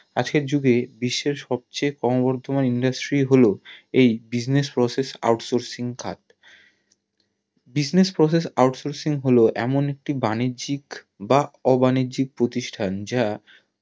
আজকের যুগে বিশ্বের সবচেয়ে ক্রোম বর্ধমান industry হলো এই Business Process out sourcing টা Business Process out sourcing হলো এমন একটি বাণিজ্যিক বা অবাণিজ্যিক প্রতিষ্ঠান যা